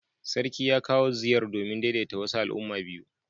Sarki ya kawo ziyar domin daidaita wasu al'umma biyu.